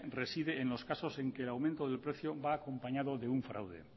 reside en los casos en que el aumento del precio va acompañado de un fraude